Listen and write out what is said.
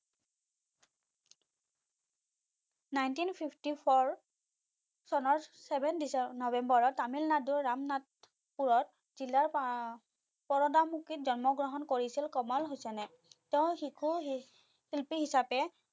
Nineteen Fifty four চনৰ Seven নবেম্বৰত তামিলনাডুৰ ৰামনাথপুৰত জিলা পৰদামুকিত জন্ম কৰিছিল কমল হুচেইনে তেও শিশু শিল্পী হিচাপে